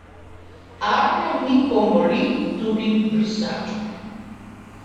Arne mi pomoli tudi brisačo.